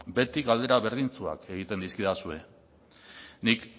beti galdera berdintsuak egiten dizkidazue nik